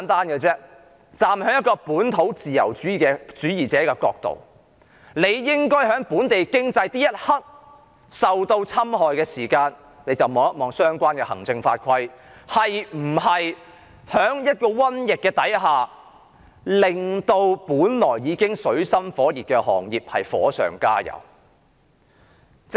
以本土自由主義者的角度而言，在本地經濟受侵害的一刻起，政府便應該檢視相關行政法規是否為原本已處於水深火熱的行業在一場瘟疫下火上加油。